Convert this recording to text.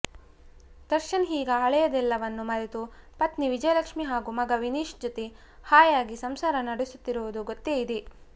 ದರ್ಶನ್ ಈಗ ಹಳೆಯದೆಲ್ಲವನ್ನೂ ಮರೆತು ಪತ್ನಿ ವಿಜಯಲಕ್ಷ್ಮಿ ಹಾಗೂ ಮಗ ವಿನೀಶ್ ಜೊತೆ ಹಾಯಾಗಿ ಸಂಸಾರ ನಡೆಸುತ್ತಿರುವುದು ಗೊತ್ತೇ ಇದೆ